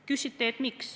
Küsite, miks.